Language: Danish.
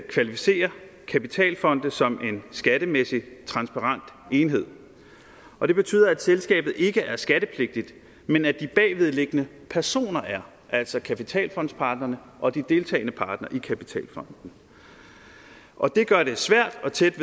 kvalificerer kapitalfonde som en skattemæssig transparent enhed og det betyder at selskabet ikke er skattepligtigt men at de bagvedliggende personer er altså kapitalfondspartnerne og de deltagende partnere i kapitalfonden og det gør det svært og tæt